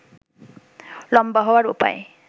লম্বা হওয়ার উপায়